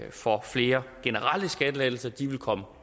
for flere generelle skattelettelser og de vil komme